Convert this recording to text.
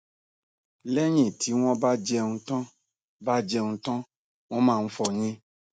lẹyìn tí wọn bá jẹun tán bá jẹun tán wọn máa ń fọyín